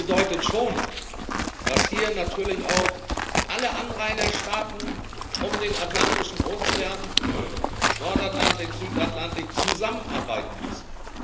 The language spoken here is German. Das bedeutet schon, dass hier natürlich auch alle Anrainerstaaten um den Atlantischen Ozean Nordatlantik, Südatlantik zusammenarbeiten müssen.